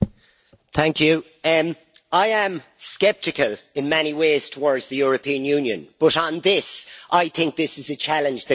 Mr President, I am sceptical in many ways towards the European Union, but on this, I think it is a challenge that we should meet.